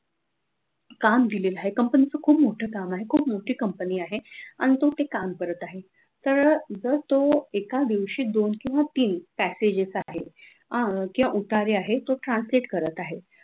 काम दिलेल आहे company च खूप मोठं काम आहे खूप मोठी company आहे आणि तो ते काम करत आहे तर जर तो एका दिवशी दोन किंवा तीन packages आहेत आह उतारे आहे ते translate करत आहे